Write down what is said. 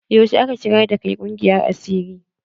Yaushe aka shigar da kai ƙungiyar asiri?